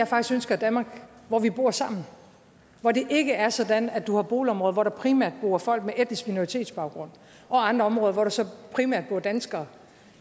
faktisk et danmark hvor vi bor sammen hvor det ikke er sådan at du har boligområder hvor der primært bor folk med etnisk minoritetsbaggrund og andre områder hvor der så primært bor danskere